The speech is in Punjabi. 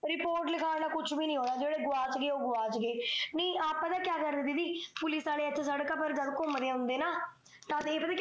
ਰਿਪੋਰਟ ਲਿਖਾਉਣ ਨਾਲ ਕੁਜ ਨਹੀ ਹੋਣਾ ਜੇਹੜੇ ਗਵਾਚ ਗਏ ਓਹ ਗਵਾਚ ਗਏ ਨੀ ਆਪ ਪਤਾ ਕਿਆ ਕਹਿ ਰਹੇ ਦੀਦੀ ਪੁਲਿਸ ਆਲੇ ਘੁਮਦੇ ਆ ਹੁੰਦੇ ਨਾ ਇਹ ਪਤਾ